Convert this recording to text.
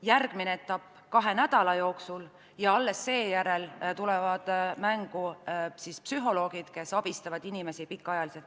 Järgmine etapp on kahe nädala jooksul ja alles seejärel tulevad mängu psühholoogid, kes abistavad inimesi pikema aja jooksul.